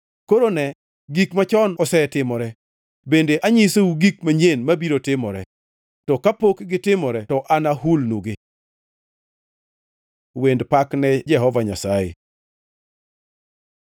Koro ne, gik machon osetimore bende anyisou gik manyien mabiro timore, to kapok gitimore to ahulonugi.” Wend pak ne Jehova Nyasaye